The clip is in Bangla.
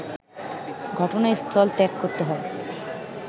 ঘটনাস্থল ত্যাগ করতে হয়